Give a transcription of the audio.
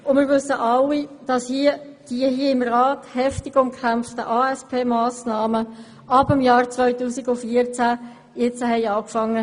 Wir wissen alle, dass die im Rat heftig umkämpften ASP-Massnahmen ab dem Jahr 2014 zu greifen begannen.